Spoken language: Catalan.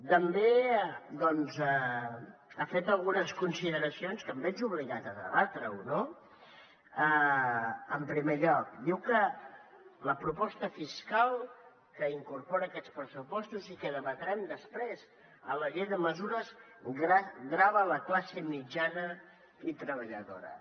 també doncs ha fet algunes consideracions que em veig obligat a debatre no en primer lloc diu que la proposta fiscal que incorporen aquests pressupostos i que debatrem després en la llei de mesures grava la classe mitjana i treballadora